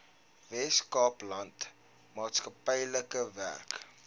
weskaapland maatskaplike werk